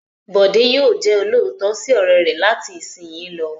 Bọ̀dé yóò jẹ olóòótọ́ sí ọ̀rẹ́ rẹ̀ láti ìsìnyí lọ.